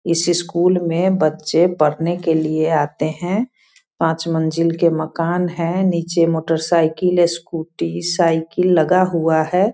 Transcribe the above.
इस स्कूल में बच्चे पढ़ने के लिए आते हैं। पाँच मंजिल के मकान हैं। निचे मोटरसाइकिल स्कूटी साइकिल सब लगा हुआ है।